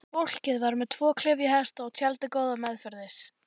Fólkið var með tvo klyfjahesta og tjaldið góða meðferðis.